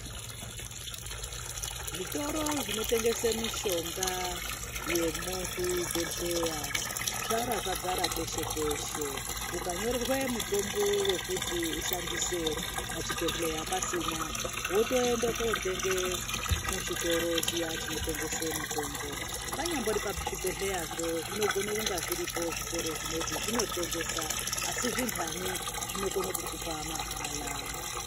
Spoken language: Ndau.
Zvitoro zvinotengese mishonga yemuzvibhodhlera yaradzara peshe peshe mukanyorerwe mutombo wekuti kushandise pachibhedhlera pasina wotoende kotenge muchitoro chiya chinotengese mito panyambori pazvibhebhedhlerazvo zvinogona kunga zviripo zvitoro zvinezve asi zvindani zvinokone kukupa mahala.